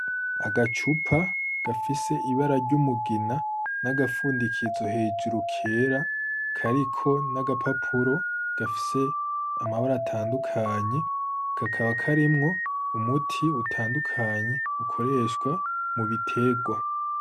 Agacupa gafise ibara ry'umugina n'agapfundikizo hejuru kera kariko n'agapapuro gafise amabara atandukanye, kakaba karimwo umuti utandukanye ukoreshwa mu biterwa.